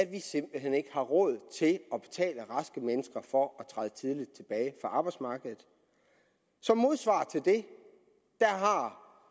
vi simpelt hen ikke har råd til at betale raske mennesker for at træde tidligt tilbage arbejdsmarkedet som modsvar til det har herre